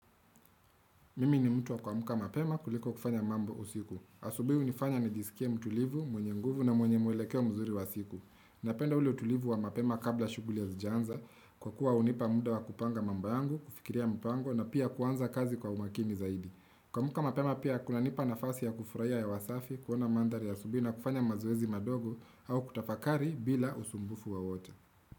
Mimi ni mtu wa kuamka mapema kuliko kufanya mambo usiku. Asubuhi hunifanya nijisikie mtulivu, mwenye nguvu na mwenye mwelekeo mzuri wa siku. Napenda ule utulivu wa mapema kabla shughuli hazijaanza kwa kuwa hunipa muda wa kupanga mambo yangu, kufikiria mpango na pia kuanza kazi kwa umakini zaidi. Kuamka mapema pia kunanipa nafasi ya kufurahiya hewa safi, kuona mandhari asubuhi na kufanya mazoezi madogo au kutafakari bila usumbufu wowote.